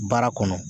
Baara kɔnɔ